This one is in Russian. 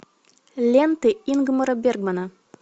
ленты ингмара бергмана